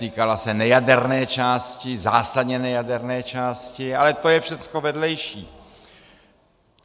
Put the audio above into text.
Týkala se nejaderné části, zásadně nejaderné části, ale to je všechno vedlejší.